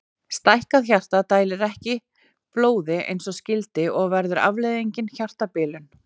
Einhver hafði haft hugsun á að varðveita þessa mynd og koma henni áleiðis.